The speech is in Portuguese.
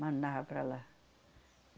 mandava para lá.